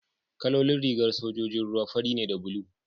kalolin rigar sojojin ruwa fari ne da bulu